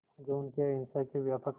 जो उनके अहिंसा के व्यापक